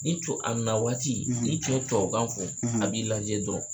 N'i co a na waati n'i co ye tuwawukan fɔ, a b'i lajɛ dɔrɔn.